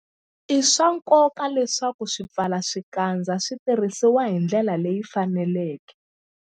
I swa nkoka leswaku swipfalaxikandza swi tirhisiwa hi ndlela leyi faneleke.